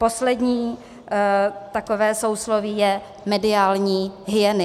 Poslední takové sousloví je mediální hyeny.